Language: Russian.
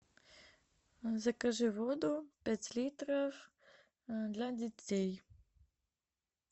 закажи воду пять литров для детей